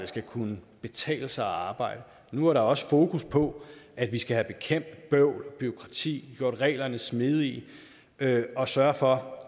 skal kunne betale sig at arbejde nu er der også fokus på at vi skal have bekæmpet bøvl og bureaukrati gjort reglerne smidige og sørge for